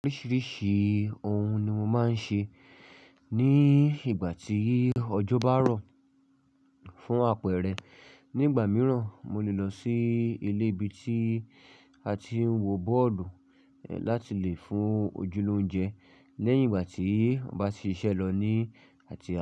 Oríṣìíríṣìí ohun ni mo máa ń ṣe ní ìgbà tí ọjọ́ bá rọ̀ fún àpẹẹrẹ, nígbà mìíràn, mo lè lọ sí ilé ibi tí a ti ń wo bọ́ọ̀lù láti lè fún ojú lóunje lẹ́yìn ìgbà tí aba ti ṣiṣẹ́ lọ ní àti.